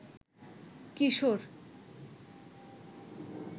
কিশোর